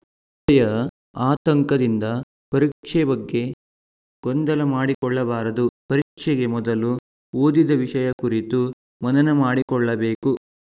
ಭಯ ಆತಂಕದಿಂದ ಪರೀಕ್ಷೆ ಬಗ್ಗೆ ಗೊಂದಲ ಮಾಡಿಕೊಳ್ಳಬಾರದು ಪರೀಕ್ಷೆಗೆ ಮೊದಲು ಓದಿದ ವಿಷಯ ಕುರಿತು ಮನನ ಮಾಡಿಕೊಳ್ಳಬೇಕು